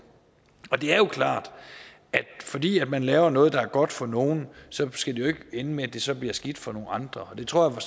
det er jo klart at fordi man laver noget der er godt for nogle skal det jo ikke ende med at det så bliver skidt for nogle andre og det tror